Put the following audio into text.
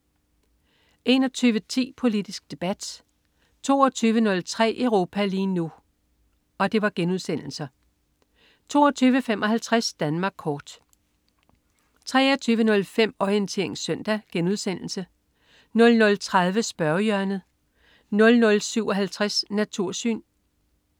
21.10 Politisk Debat* 22.03 Europa lige nu* 22.55 Danmark kort 23.05 Orientering Søndag* 00.30 Spørgehjørnet* 00.57 Natursyn*